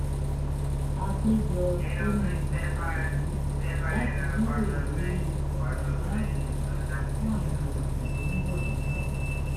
à pé jọ sínú gbọ̀ngàn ìlú láti jíròrò lórí ọnà ìdáàbòbo fún àwọn ètò tó ń bọ̀ lọ́nà